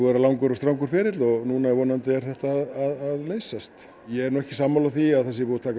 vera langur og strangur ferill og núna vonandi er þetta að leysast ég er nú ekki sammála því að það sé búið að taka